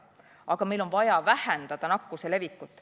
Aga meil on vaja vähendada nakkuse levikut.